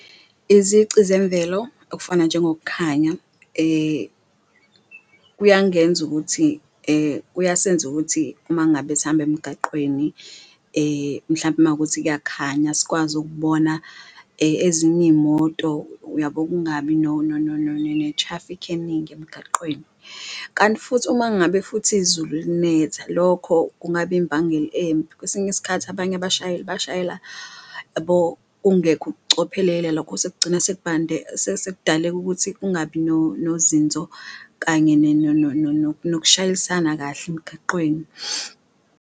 Izici zemvelo okufana njengokukhanya kuyangenza ukuthi kuyasenza ukuthi uma ngabe sihamba emgaqweni, mhlampe makuwukuthi kuyakhanya sikwazi ukubona ezinye imoto, uyabo? Kungabi ne-traffic eningi emgaqweni, kanti futhi uma ngabe futhi izulu linetha lokho kungaba imbangela embi, kwesinye isikhathi abanye abashayeli bashayela kungekho ukucophelelela kugcina sekubande sekudaleka ukuthi kungabi nozinzo kanye nokushayisana kahle emgaqweni.